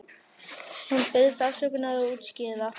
Hún biðst afsökunar og útskýrir það.